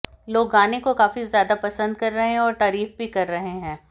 लोग गाने को काफी ज्यादा पसंद कर रहे हैं और तारीफ भी कर रहे हैं